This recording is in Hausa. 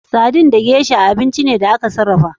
Sardin da gesha abinci ne da aka sarrafa.